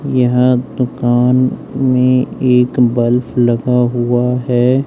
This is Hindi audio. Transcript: यह दुकान में एक बल्ब लगा हुआ है।